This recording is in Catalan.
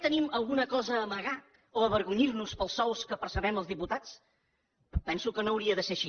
tenim alguna cosa a amagar o a avergonyir nos pels sous que percebem els diputats em penso que no hauria de ser així